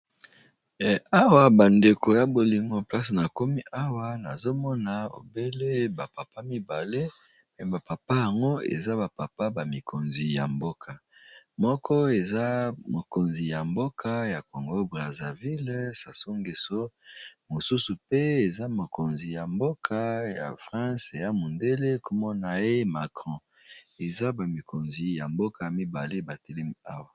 Hawa bandeko ya bolingo, place na komi hawa, nazo mona obele bapapa mibale. Me bapapa yango, eza bapapa bamikonzi ya mboka. Moko, eza mokonzi ya mboka ya Congo Brazaville Sasu Geso. Mosusu pe, eza mokonzi ya mboka ya France. Eya mondele kombo na ye Macron. Eza bamikonzi ya mboka mibale batelemi hawa.